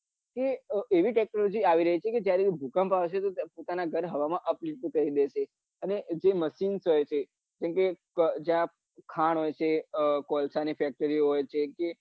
કે એવી technology આવી રહી છે જાયારે ભૂકંપ આવશે પોતાના ઘર અપ ઉચું કરી દેશે અને જે machine કરે છે જેમકે જ્યાં ખાણ હોય છે કે કોલસા ની factory હોય છે કે